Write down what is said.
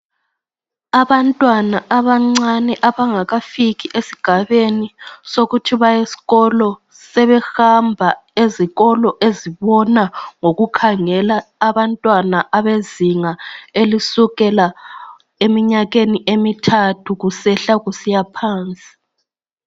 Abantwana abancane abangakafiki esigabeni sokuhamba esikolo, sebehamba ezikolo ezibona ngoku khangela abantwana abezinga elincane kusukela abaleminyaka emithathu kusehla kusiya phansi